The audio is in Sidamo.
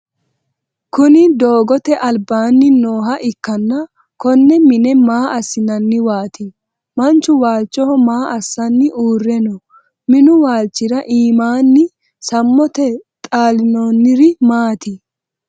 Kunni dogoote albaanni nooha ikanna konne mine maa asinnanniwaati? Machu waalchoho maa assanni uure no? Minu waalchira iimaanni samote xalinoonniri maati?